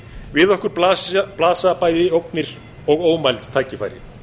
við okkur blasa bæði ógnir og ómæld tækifæri